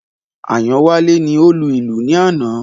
Ayanwale ni ó lu ìlù ní àná